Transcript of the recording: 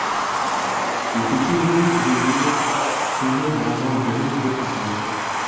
екінші бөлім жүрегімнің ұсындым ғазал гүлін деп аталады